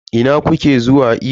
Ina kuke zuwa iyo?